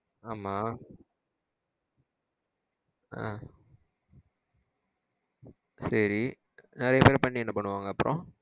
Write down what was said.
ஆமா அஹ் சேரி நிறைய பேர பண்ணி என்ன பண்ணுவாங்க அப்புறம்?